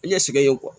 I ɲɛsigi yen